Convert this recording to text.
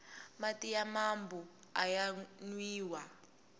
mati ya mambu aya nwiwa